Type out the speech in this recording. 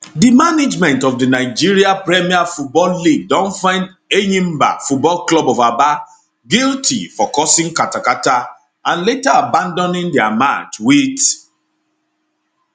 di management of di nigeria premier football league don find enyimba football club of aba guilty for causing katakata and later abandoning dia match wit